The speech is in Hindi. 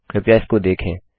कृपया इसको देखें